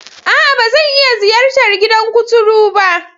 A'a! Ba zan iya ziyartar gidan kuturu ba.